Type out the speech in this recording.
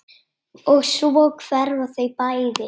Og svo hverfa þau bæði.